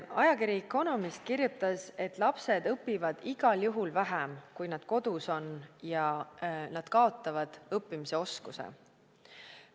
Ajakiri The Economist kirjutas, et lapsed õpivad igal juhul vähem, kui nad kodus on, ja nad kaotavad õppimisoskuse.